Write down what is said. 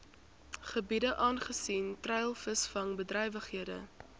gebiede aangesien treilvisvangbedrywighede